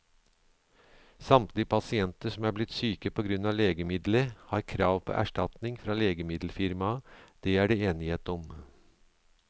Samtlige pasienter som er blitt syke på grunn av legemiddelet, har krav på erstatning fra legemiddelfirmaet, det er det enighet om.